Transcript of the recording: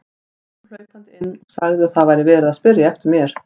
Hún kom hlaupandi inn og sagði að það væri verið að spyrja eftir mér.